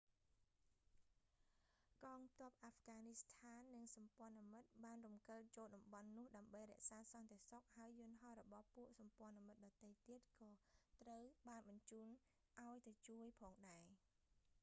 កងទ័ពអាហ្វហ្គនីស្ថាន និងសម្ព័ន្ថមិត្តបានរំកិលចូលតំបន់នោះដើម្បីរក្សាសន្តិសុខ ហើយយន្តហោះរបស់ពួកសម្ព័ន្ធមិត្តដទៃទៀតក៏ត្រូវបានបញ្ជូនឱ្យទៅជួយផងដែរ